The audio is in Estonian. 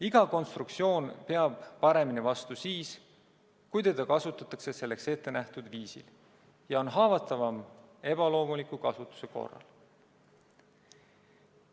Iga konstruktsioon peab paremini vastu siis, kui teda kasutatakse selleks ettenähtud viisil, ja on haavatavam ebaloomuliku kasutuse korral.